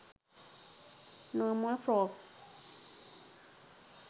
normal frock